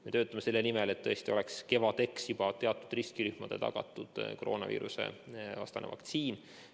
Me töötame selle nimel, et tõesti oleks kevadeks juba teatud riskirühmadele tagatud koroonaviirusevastane vaktsiin.